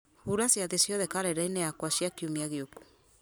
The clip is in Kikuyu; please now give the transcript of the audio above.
hura ciathĩ ciothe karenda-inĩ yakwa cia kiumia gĩũku